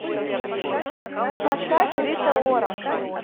поставь рита ора